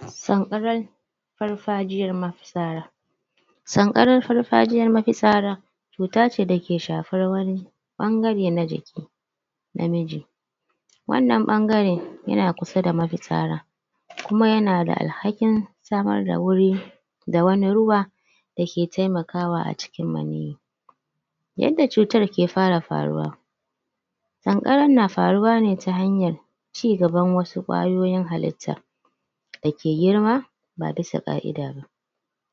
Sanƙaran farfajiyan mafitsara sanƙaran farfajiyan mafitsara cuta ce da ke shafar wani ɓangare na jikin namiji wannan ɓangare yana kusa da mafitsara kuma yana da alhakin samar da wuri da wani ruwa da ke taimakawa a cikin maniyyi yadda cutar ke fara faruwa sanƙaran na faruwa ne ta hanyan cigaban wasu ƙwayoyin halitta dake girma ba bisa ƙa'ida ba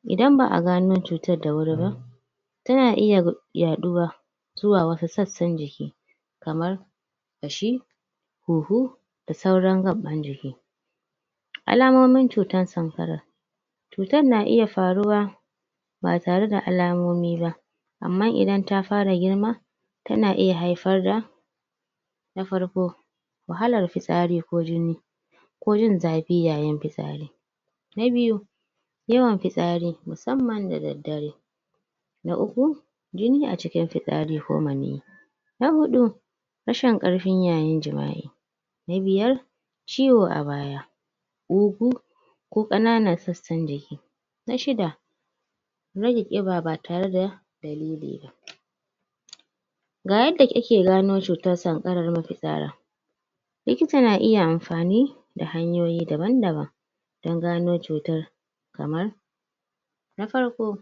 idan ba a gano cutar da wuri ba tana iya yaɗuwa zuwa wasu sassan jiki kamar ƙashi huhu da sauran gaɓɓan jiki alamomin cutar sanƙara cutar na iya faruwa ba tare da alamomi ba amman idan ta fara girma tana iya haifar da na farko wahalar fitsari ko jini ko jin zafi yayin fitsari na biyu yawan fitsari musamman da daddare na uku jini a cikin fitsari ko maniyyi na huɗu rashin ƙarfi yayin jima'i na biyar ciwo a baya ƙugu ko ƙananan sassan jiki Na shida rage ƙiba ba tare da dalili ba da yadda ake gano cutar sanarar mafitsara likita na iya amfani da hanyoyi daban daban don gano cutar kamar na farko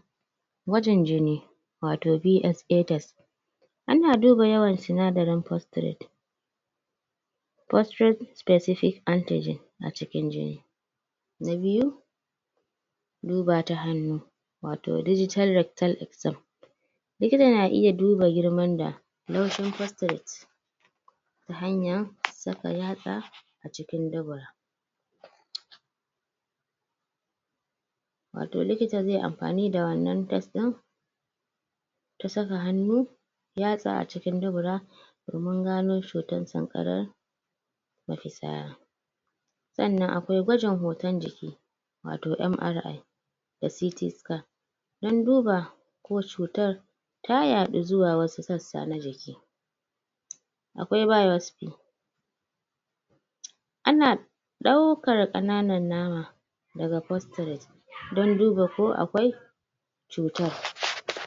gwajin jini watau BSA test ana duba yawan sinadarin postrate postrate spsecific antigene a cikin jini Na biyu Duba ta hannu watau digital rectal exam likita na iya duba girman da? postrate ta hanyan saka yatsa a cikin dubura watau likita zai yi amfani da wanna test ɗin ta saka hannu yatsa a cikin dubura domin gano cutar sanƙaran mafitsara sanna akwai gwajin hoton jiki Watau MRI da CT Scan don duba ko cutar ta yaɗu zuwa wasu sassa na jiki akwai biospy ana ɗaukar ƙananan nama daga postrate don duba ko akwai cutar